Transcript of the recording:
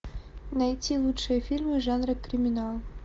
найти лучшие фильмы жанра криминал